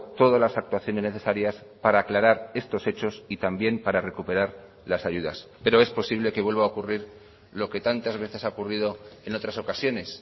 todas las actuaciones necesarias para aclarar estos hechos y también para recuperar las ayudas pero es posible que vuelva a ocurrir lo que tantas veces ha ocurrido en otras ocasiones